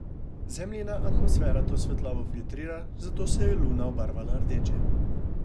Zemljina atmosfera to svetlobo filtrira, zato se je Luna obarvala rdeče.